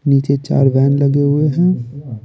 नीचे चार वैन लगे हुए हैं।